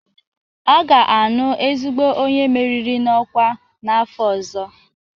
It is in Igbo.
A ga-aṅụ ezigbo onye meriri n'ọkwa n'afọ ọzọ